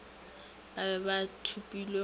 ba be ba thopilwe go